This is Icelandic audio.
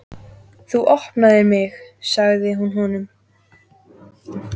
Þú opnaðir mig, sagði hún honum.